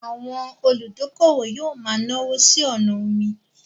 Àwọn olùdókówò yóò ma náwó sí ọnà omi